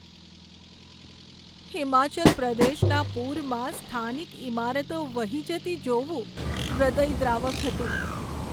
હિમાચલ પ્રદેશના પૂરમાં સ્થાનિક ઈમારતો વહી જતી જોવું હૃદયદ્રાવક હતું.